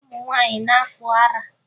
Ụmụ nwaanyị na-akpụ ara